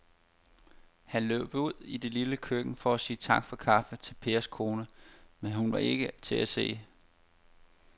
Han løb ud i det lille køkken for at sige tak for kaffe til Pers kone, men hun var ikke til at se.